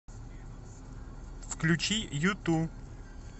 включи юту